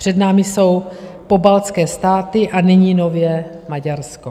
Před námi jsou pobaltské státy a nyní nově Maďarsko.